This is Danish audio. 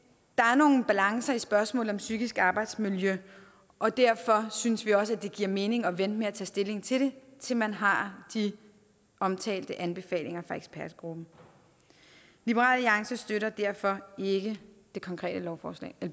der er nogle balancer i spørgsmålet om psykisk arbejdsmiljø og derfor synes vi også det giver mening at vente med at tage stilling til det til man har de omtalte anbefalinger fra ekspertgruppen liberal alliance støtter derfor ikke det konkrete